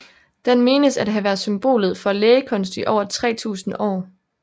Den menes at have været symbolet for lægekunst i over 3000 år